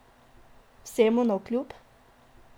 Vsemu navkljub?